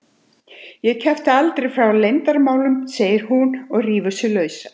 Ég kjafta aldrei frá leyndarmálum, segir hún og rífur sig lausa.